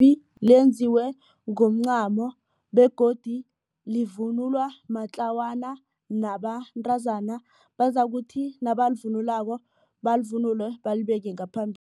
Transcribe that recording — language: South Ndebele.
lenziwe ngomncamo begodu livunulwa matlawana nabantazana. Bazakuthi nabalivunulako balivunule balibeke